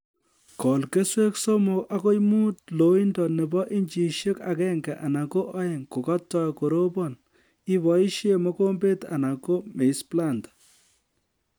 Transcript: Kol keswek somok agoi muut loindo nebo inchishek agenge anan ko oeng kokatoi korobon iboisie mokomber anan ko maize planter